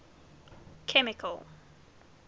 chemical